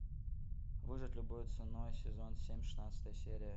выжить любой ценой сезон семь шестнадцатая серия